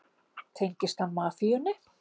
Tengist hann mafíunni?